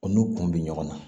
O n'u kun bɛ ɲɔgɔn na